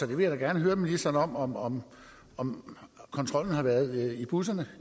vil da gerne høre ministeren om om kontrollen har været i busserne